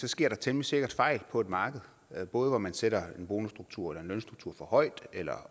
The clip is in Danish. sker der temmelig sikkert fejl på et marked både hvor man sætter en bonusstruktur eller en lønstruktur for højt eller